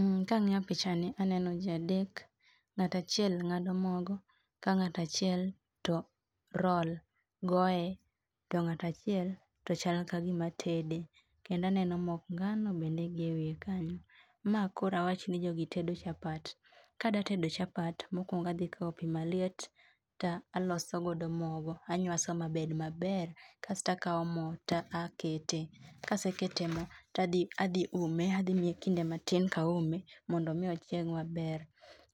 um kang'iyo pichani aneno jii adek, ng'at achiel ng'ado mogo ka ng'at achiel to roll goye, to ng'at achiel to chal ka gima tede. Kendo aneno mok ngano bende gi ewiye kanyo. Ma koro awach ni jogi tedo chapat. Kadatedo chapat, mokwongo adhikaw pii maliet ta aloso godo mogo, anywaso mabed maber, kasto akaw mo ta akete. Kasekete mo, ta adhi adhi ume adhi miye kinde matin kaume, mondo mi ochieg maber.